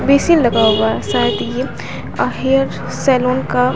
basin लगा हुआ है शायद ये अह हेयर सैलून का--